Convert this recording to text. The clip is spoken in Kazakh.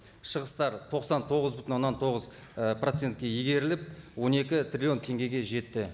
шығыстар тоқсан тоғыз бүтін оннан тоғыз і процентке игеріліп он екі триллион теңгеге жетті